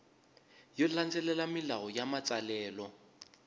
yo landzelela milawu ya matsalelo